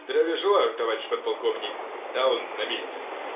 здравия желаю товарищ подполковник даун на месте